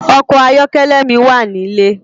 Òkò àyòkèlè mi wá nilé